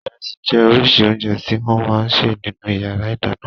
Ìrẹsì jẹ́ oríṣi oúnjẹ tí wọ́n máa ń sè nínú ìyàrá-ìdáná.